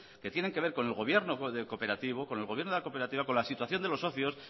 que tienen que ver con el gobierno de cooperativo con el gobierno de la cooperativa con la situación de los socios